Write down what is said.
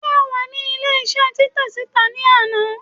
se o wa ní ilé isé Titẹ sita ni anà?